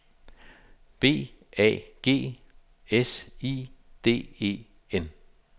B A G S I D E N